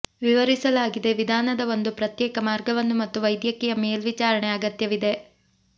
ವಿವರಿಸಲಾಗಿದೆ ವಿಧಾನದ ಒಂದು ಪ್ರತ್ಯೇಕ ಮಾರ್ಗವನ್ನು ಮತ್ತು ವೈದ್ಯಕೀಯ ಮೇಲ್ವಿಚಾರಣೆ ಅಗತ್ಯವಿದೆ